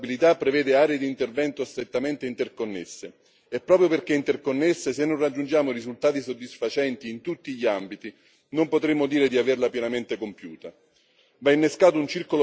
La strategia europea sulla disabilità prevede aree di intervento strettamente interconnesse e, proprio perché interconnesse, se non raggiungiamo risultati soddisfacenti in tutti gli ambiti non potremo dire di averla pienamente compiuta.